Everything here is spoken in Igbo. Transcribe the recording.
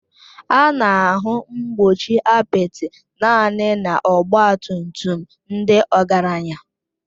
A na-ahụ mgbochi apịtị naanị na ọgba tum tum ndị ọgaranya